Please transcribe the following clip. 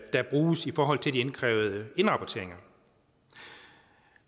der bruges i forhold til de indkrævede indrapporteringer